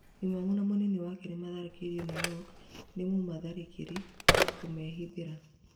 Imamu na munini wake nĩmoragĩtwo New York nĩ mũmatharĩkĩri kũmehithĩra